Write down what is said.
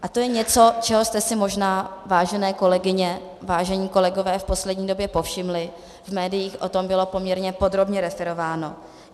A to je něco, čeho jste si možná, vážené kolegyně, vážení kolegové, v poslední době povšimli, v médiích o tom bylo poměrně podrobně referováno.